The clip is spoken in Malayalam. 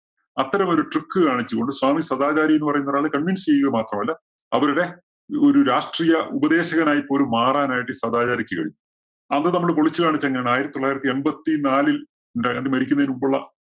അത്തരം ഒരു trick കാണിച്ചുകൊണ്ട് സ്വാമി സദാചാരി എന്നു പറയുന്ന ഒരാള് convince ചെയ്യുക മാത്രമല്ല, അവരുടെ ഒരു ഒരു രാഷ്ട്രീയ ഉപദേശകനായി പോലും മാറാനായിട്ട് ഈ സദാചാരിക്ക് കഴിഞ്ഞു. അത് നമ്മള് പൊളിച്ചു കാണിച്ചത് എങ്ങനെയാണ് ആയിരത്തി തൊള്ളായിരത്തി എണ്‍പത്തി നാലില്‍ ഏതാണ്ട് മരിക്കുന്നതിനു മുമ്പുള്ള